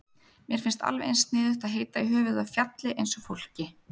Mér finnst alveg eins sniðugt að heita í höfuðið á fjalli eins og fólki.